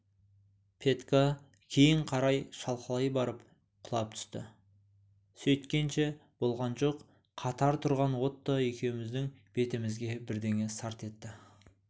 петька кейін қарай шалқалай барып құлап түсті сөйткенше болған жоқ қатар тұрған отто екеуміздің бетімізге бірдеңе сарт етті